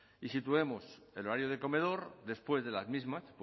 y situemos el horario de comedor después de las mismas